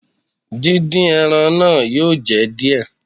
Dín dín ẹran náà yóò jẹ díẹ̀.